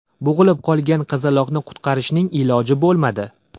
Bo‘g‘ilib qolgan qizaloqni qutqarishning iloji bo‘lmadi.